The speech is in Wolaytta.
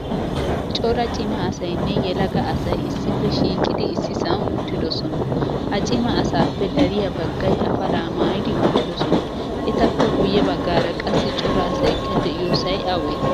Cora cima asaynne yelaga asay issippe shiiqidi issisan uttidosona. Ha cima asappe dariyaa baggaay afalaa maayidi uttidosona. Etappe guye baggara qassi cora asaykka deiyosay awe?